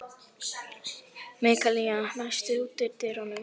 Mikaelína, læstu útidyrunum.